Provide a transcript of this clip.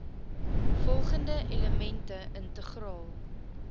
volgende elemente integraal